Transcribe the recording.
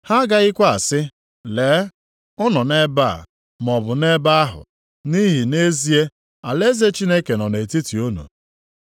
Ha agaghịkwa asị, ‘Lee, ọ nọ nʼebe a,’ maọbụ, ‘nʼebe ahụ,’ nʼihi nʼezie, alaeze Chineke nọ nʼetiti unu. ”